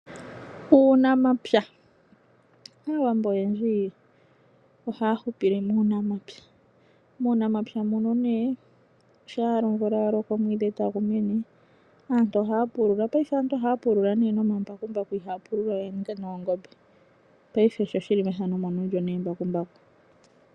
Uunamapya. Aawambo oyendji ohaya hupile muunamapya. Muunamapya muno nee shampa omvula ya loko ,omwiidhi tagu mene aantu ohaya pulula. Payife aantu ohaya pulula nee nomambakumbaku ihaya pulula we noongombe